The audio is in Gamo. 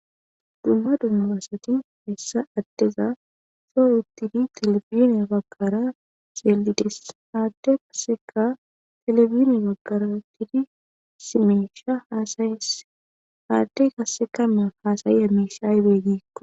Dumma dumma asati hessa addeza soo uttidi telefineya baggara xeelides aadde kasseka telebine baggara uttidi simeesha haasayes aadde kassekamma haasayi amishaybeeggiikko.